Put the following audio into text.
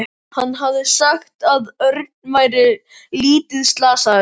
Hann hafði sagt að Örn væri lítið slasaður.